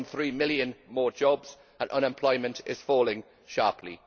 1.3 million more jobs and unemployment is falling sharply.